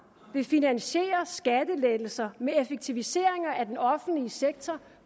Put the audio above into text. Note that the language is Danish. vil finansiere skattelettelser med effektiviseringer af den offentlige sektor